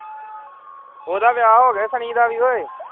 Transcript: ਉਸ ਦਾ ਵਿਆਹ ਹੋ ਗਿਆ ਸੰਨੀ ਦਾ ਵੀ ਉਏ